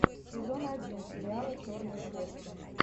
сезон один сериала черные кошки